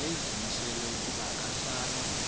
wayezimisele ukuba akasayi